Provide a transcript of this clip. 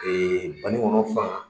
banikɔnɔ fan